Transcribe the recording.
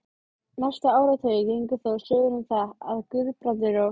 Næstu áratugi gengu þó sögur um það, að Guðbrandur og